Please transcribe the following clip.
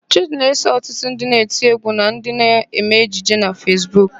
Chịdị na-eso ọtụtụ ndị na-eti égwú na ndị na-eme ejije na Fesbuk.